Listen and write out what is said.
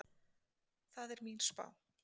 Það er mín spá.